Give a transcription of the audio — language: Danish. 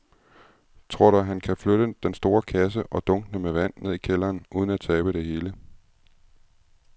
Tror du, at han kan flytte den store kasse og dunkene med vand ned i kælderen uden at tabe det hele?